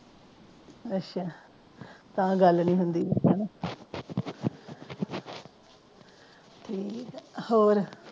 ਅੱਛਾ ਤਾ ਗੱਲ ਨਹੀਂ ਹੁੰਦੀ ਆਂਦਾ ਹਨਾ ਠੀਕ ਆ ਹੋਰ